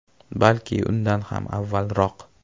Balki undan ham avvalroq”.